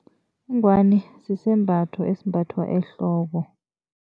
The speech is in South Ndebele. Ingwani sisembatho esimbathwa ehloko.